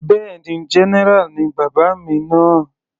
Bẹ́ẹ̀ni, general ni bàbá mi náà.